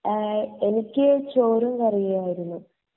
എനിക്ക് എഹ് ചോറും കറിയും ആയിരുന്നു